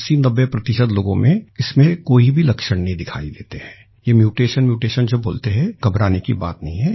8090 प्रतिशत लोगों में इसमें कोई भी लक्षण दिखाई नहीं देते हैं ये म्यूटेशनम्यूटेशन जो बोलते हैं घबराने की बात नहीं है